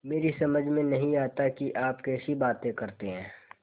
मेरी समझ में नहीं आता कि आप कैसी बातें करते हैं